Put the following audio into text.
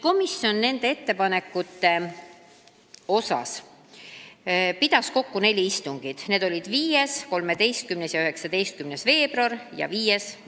Komisjon pidas ettepanekute arutamiseks kokku neli istungit, mis olid 5., 13. ja 19. veebruaril ning 5. märtsil.